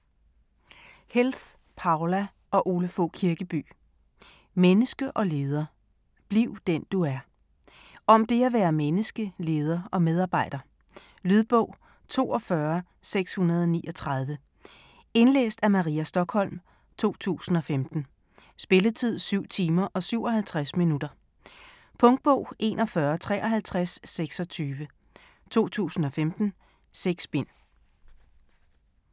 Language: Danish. Helth, Poula og Ole Fogh Kirkeby: Menneske og leder: bliv den du er Om det at være menneske, leder og medarbejder. Lydbog 42639 Indlæst af Maria Stokholm, 2015. Spilletid: 7 timer, 57 minutter. Punktbog 415326 2015. 6 bind.